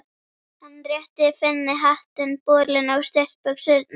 Hann rétti Finni hattinn, bolinn og stuttbuxurnar.